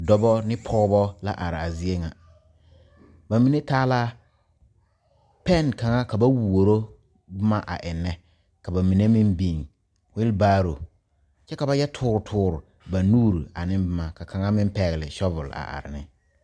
Dɔba ne pɔgeba la are a zie ŋa ba mine taa la pɛne kaŋa ka ba wuoro boma a eŋnɛ ka ba mine meŋ biŋ weelbaaro kyɛ ka ba yɛ toore toore ba nuuri ane boma ka kaŋa meŋ pɛgle sabɔle a are ne.